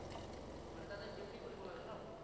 মানে তাতে duty কৰিব লাগে ন?